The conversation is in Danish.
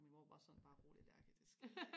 og min mor var bare sådan bare rolig Lærke det sker ikke